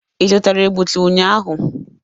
Ị zụtara egbutu ụnyaahụ?